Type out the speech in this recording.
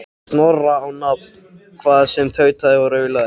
Snorra á nafn, hvað sem tautaði og raulaði.